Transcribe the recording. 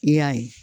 I y'a ye